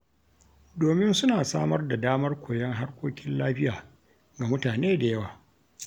Domin suna samar da damar koyon harkokin lafiya ga mutane da yawa.